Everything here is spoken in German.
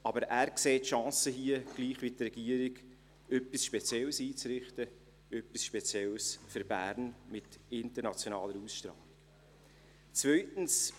Aber er sieht die Chancen hier gleich wie die Regierung, etwas Spezielles für Bern mit internationaler Ausstrahlung einzurichten.